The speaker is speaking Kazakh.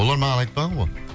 олар маған айтпаған ғой